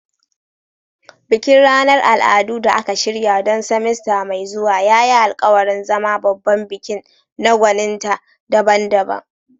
Bikin ranar al'adu da aka shirya don semester mai zuwa ya yi alkawarin zama babban bikin na gwaninta daban-daban.